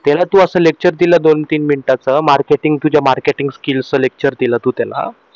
त्याला तू असं lecture दिल दोन तीन मिनिटाच marketing तुझ्या marketing skill च lecture दिल तू त्याला